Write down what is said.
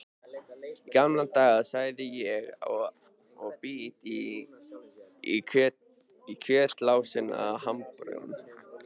Í gamla daga, segi ég og bít í kjötlausan hamborgarann.